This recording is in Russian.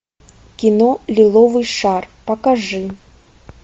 кино лиловый шар покажи